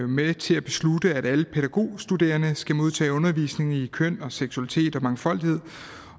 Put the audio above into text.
med til at beslutte at alle pædagogstuderende skal modtage undervisning i køn og seksualitet og mangfoldighed